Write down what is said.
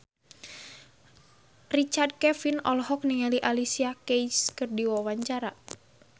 Richard Kevin olohok ningali Alicia Keys keur diwawancara